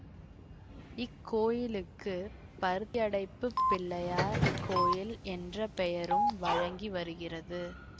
இக் கோயிலுக்கு பருத்தியடைப்புப் பிள்ளையார் கோயில் என்ற பெயரும் வழங்கி வருகிறது